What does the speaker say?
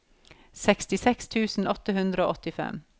sekstiseks tusen åtte hundre og åttifem